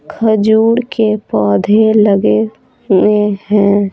खजूर के पौधे लगे हुए हैं।